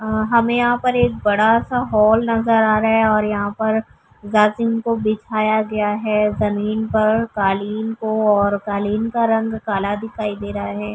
ہمیں یہاں پر ایک بڑا سا ہال نظر آ رہا ہے اور یہاں پر جاسین کو بچھایا گیا ہے۔ جمین پر کالیں کو اور کالیں کا رنگ کالا دکھائی دے رہا ہے۔